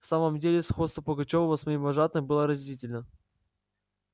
в самом деле сходство пугачёва с моим вожатым было разительно